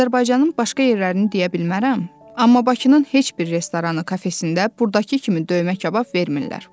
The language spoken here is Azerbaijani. Azərbaycanın başqa yerlərini deyə bilmərəm, amma Bakının heç bir restoranı, kafesində burdakı kimi döymə kabab vermirlər.